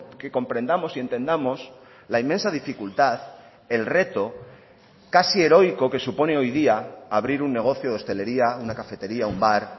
que comprendamos y entendamos la inmensa dificultad el reto casi heroico que supone hoy día abrir un negocio de hostelería una cafetería un bar